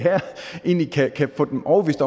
egentlig kan få dem overbevist